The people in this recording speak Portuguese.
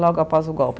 logo após o golpe.